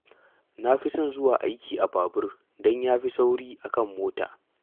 Na fi son zuwa aiki a babur don ya fi sauri a kan mota